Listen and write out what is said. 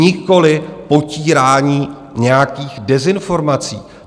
Nikoliv potírání nějakých dezinformací.